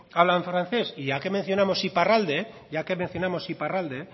hablan francés ya que mencionamos iparralde